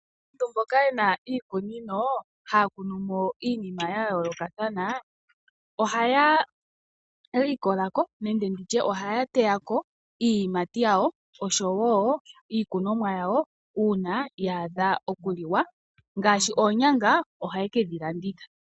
Aantu mboka yena iikunino, ohaya kunu mo iinima ya yoolokathana. Ohaya likola ko nenge ndi tye ohaya teya ko iiyimati yawo, oshowo iikunomwa yawo una ya adha oku li wa ngaashi oonyanga ohaye kedhi landitha.